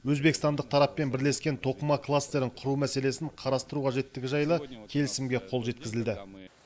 өзбекстандық тараппен бірлескен тоқыма кластерін құру мәселесін қарастыру қажеттігі жайлы келісімге қол жеткізілді